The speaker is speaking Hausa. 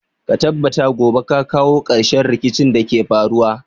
Ka tabbata gobe ka kawo ƙarshen rikicin da ke faruwa.